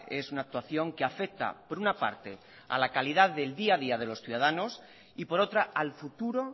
es una actuación que afecta por una parte a la calidad del día a día de los ciudadanos y por otra al futuro